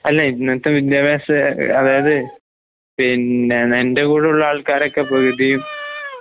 അല്ല ഇന്നത്തെവിദ്യാഭാസ അഅതായത് പിന്നെ നിന്റെകൂടുള്ള ആൾക്കാരൊക്കെപ്പവിധിയും